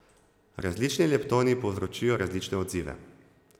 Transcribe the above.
Različni leptoni povzročijo različne odzive.